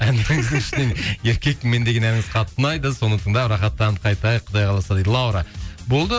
еркекпін мен деген әніңіз қатты ұнайды соны тыңдап рахаттанып қайтайық құдай қаласа дейді лаура болды